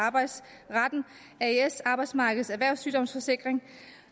arbejdsmarkedets erhvervssygdomssikring